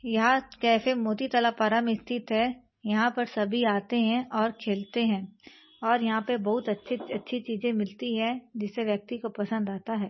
याह cafe Moti Tala Para में स्थित है यहाँ पर सभी आते हैं और खेलते हैं और यहाँ पे बहुत अच्छी-अच्छी चीज मिलती है जिसे व्यक्ति को पसंद आता है।